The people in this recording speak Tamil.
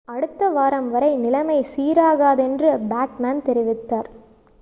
அடுத்த வாரம் வரை நிலைமை சீராகாதென்று பிட்மேன் தெரிவித்தார்